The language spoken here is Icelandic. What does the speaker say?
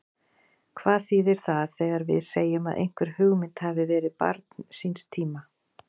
Hvað þýðir það þegar við segjum að einhver hugmynd hafi verið barn síns tíma?